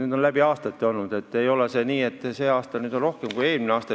See on läbi aastate nii olnud, ei ole nii, et see aasta on rohkem kui eelmisel aastal.